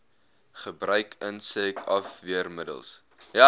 gebruik insek afweermiddels